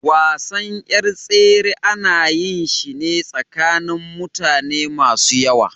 Wasan yar tsere ana yin shi ne tsakanin mutane masu yawa.